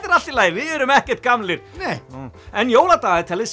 er allt í lagi við erum ekkert gamlir en jóladagatalið